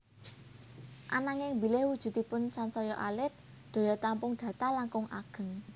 Ananging bilih wujudipun sansaya alit daya tampung data langkung ageng